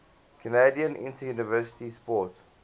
canadian interuniversity sport